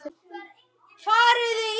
Gunnar Atli: Endar hún vel?